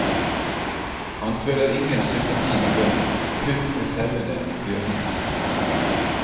Han føler ingen sympati med bøndene, kun med sauene og bjørnene.